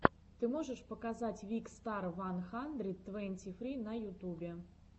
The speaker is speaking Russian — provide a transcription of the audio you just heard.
ты можешь показать викстар ван хандрид твенти фри на ютубе